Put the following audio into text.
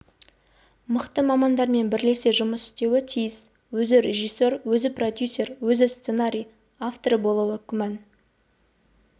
мықты мамандармен бірлесе жұмыс істеуі тиіс өзі режиссер өзі продюсер өзі сценарий авторы болуы күмән